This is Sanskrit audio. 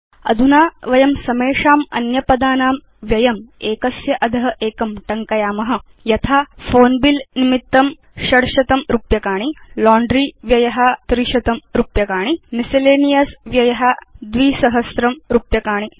अधुना वयं समेषाम् अन्यपदानां व्ययम् एकस्य अध एकं टङ्कयाम यथा फोन बिल निमित्तं रुपीस् 600 लाण्ड्री व्यय रुपीस् 300 मिसेलेनियस व्यय रुपीस् 2000 च